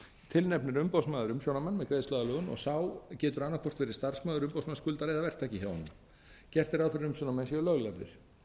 tilnefnir umboðsmaður umsjónarmann með greiðsluaðlögun og sá getur annað hvort verið starfsmaður umboðsmanns skuldara eða verktaki hjá honum gert er ráð fyrir að umsjónarmenn séu löglærðir